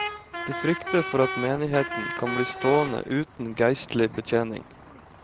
De frykter for at menigheten kan bli stående uten geistlig betjening.